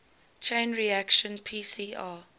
chain reaction pcr